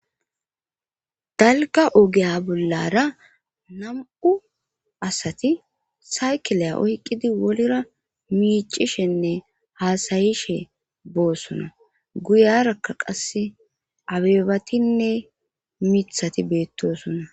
Dalgga ogeya bollara nam7u asati saykileya oyqqidi wolra miicishenne haasayishe boosona guyarakka qasse abebatinne mithati beettosonna.